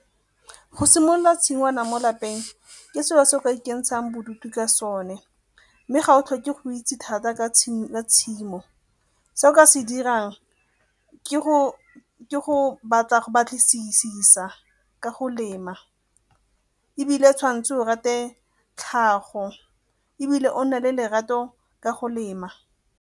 Go simolola tshingwana mo lapeng ke selo se o ka ikentshang bodutu ka sone mme ga o tlhoke go itse thata ka tshimo. Se o ka se dirang ke go batlisisa ka go lema ebile tshwanetse o rate tlhago ebile o nna le lerato ka go lema.